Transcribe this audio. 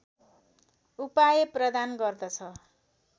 उपाय प्रदान गर्दछ